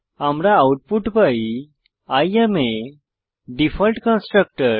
আমরা আউটপুট পাই I am a default constructor